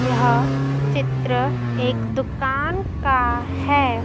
यह चित्र एक दुकान का हैं।